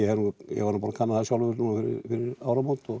ég var nú búinn að kanna það sjálfur fyrir áramót og